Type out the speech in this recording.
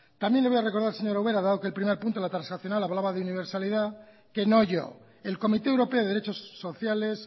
también le voy a recordar señora ubera dado que el primer punto la transaccional hablaba de universalidad que no oyó el comité europeo de derechos sociales